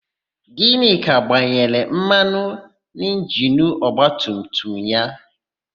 Gịnịka gbanyere mmanụ n'injinu ọgbatumtum ya.